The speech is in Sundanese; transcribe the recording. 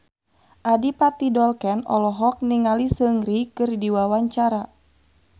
Adipati Dolken olohok ningali Seungri keur diwawancara